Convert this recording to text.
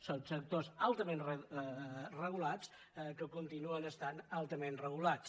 són sectors altament regulats que continuen estant altament regulats